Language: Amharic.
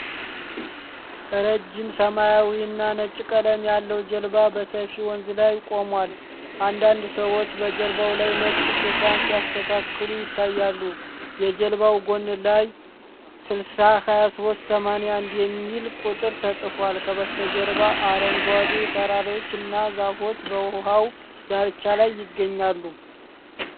ረዥም ሰማያዊና ነጭ ቀለም ያለው ጀልባ በሰፊ ወንዝ ላይ ቆሟል። አንዳንድ ሰዎች በጀልባው ላይ ነጭ ሽፋን ሲያስተካክሉ ይታያሉ። የጀልባው ጎን ላይ "602381" የሚል ቁጥር ተጽፏል። ከበስተጀርባ አረንጓዴ ተራሮችና ዛፎች በውሃው ዳርቻ ላይ ይገኛሉ።